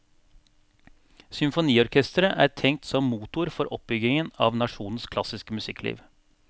Symfoniorkestret er tenkt som motor for oppbyggingen av nasjonens klassiske musikkliv.